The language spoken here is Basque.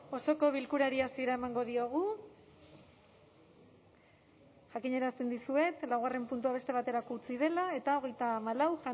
osoko bilkurari hasiera emango diogu jakinarazten dizuet laugarren puntua beste baterako utzi dela eta hogeita hamalau